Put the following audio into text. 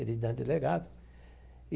Ele diante do delegado.